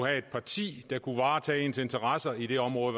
et parti der kunne varetage deres interesser i det område